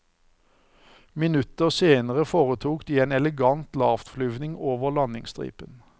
Minutter senere foretok de en elegant lavtflyvning over landingsstripen.